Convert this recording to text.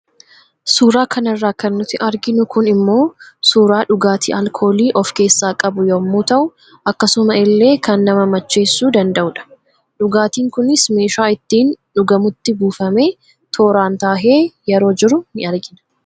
Suuraa kanarraa kan nuti arginu kun immoo suuraa dhugaatii alkoolii of keessaa qabu yemmuu tahu akkasuma illee kan nama macheessuu danda'udha. Dhugaatiin kunis meeshaa ittiin dhugamutti buufamee tooraan tahee yeroo jiru ni argina.